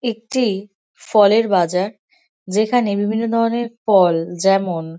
একটি ফলের বাজার। যেখানে বিভিন্ন ধরনের ফল যেমন--